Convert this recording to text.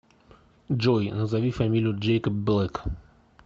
джой назови фамилию джэйкоб блэк